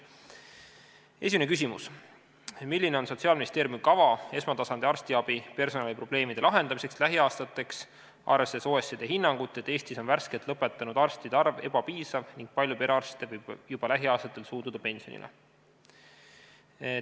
Esimene küsimus: "Milline on Sotsiaalministeeriumi kava esmatasandi arstiabi personaliprobleemide lahendamiseks lähiaastateks, arvestades OECD hinnangut, et Eestis on värskelt lõpetanud arstide arv ebapiisav ning palju perearste võib juba lähiaastatel suunduda pensionile?